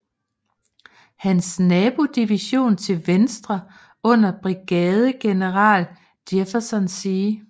Hans nabodivision til venstre under brigadegeneral Jefferson C